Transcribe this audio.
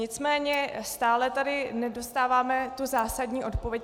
Nicméně stále tady nedostáváme tu zásadní odpověď.